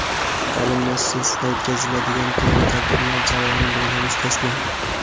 ta’lim muassasasida o‘tkaziladigan turli tadbirlar jarayoni bundan mustasno.